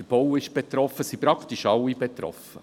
Der Bau ist betroffen, es sind praktisch alle betroffen.